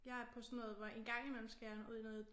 Jeg er på sådan noget hvor engang imellem skal jeg ud i noget